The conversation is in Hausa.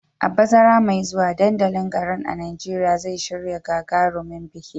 A bazara mai zuwa, dandalin garin a Najeriya zai shirya gagarumin biki